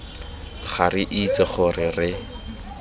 ga re itse gore re